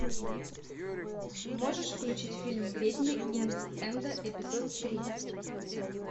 можешь включить фильм ведьмы ист энда эпизод три